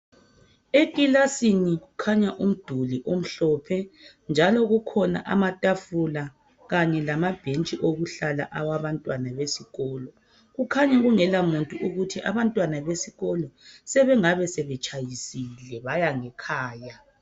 Ekilasini khanya umduli omhlophe njalo kukhona amatafula kanye lamabhentshi okuhlala awabantwana besikolo. Kukhanya kungelamuntu ukuthi abantwana besikolo sebengabe sebetshayisile baya ngekhaya.